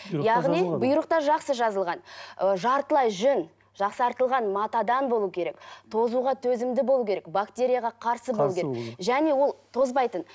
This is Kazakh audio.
яғни бұйрықта жақсы жазылған ы жартылай жүн жақсартылған матадан болу керек тозуға төзімді болу керек бактерияға қарсы болу керек және ол тозбайтын